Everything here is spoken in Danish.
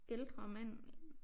Ældre mand